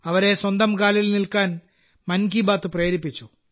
അവരെ സ്വന്തം കാലിൽ നിൽക്കാൻ മൻ കി ബാത്ത് പ്രേരിപ്പിച്ചു